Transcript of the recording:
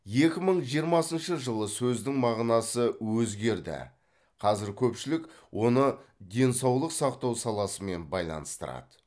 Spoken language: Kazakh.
екі мың жиырмасыншы жылы сөздің мағынасы өзгерді қазір көпшілік оны денсаулық сақтау саласымен байланыстырады